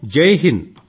జైహింద్